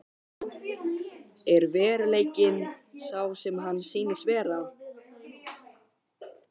Er veruleikinn sá sem hann sýnist vera?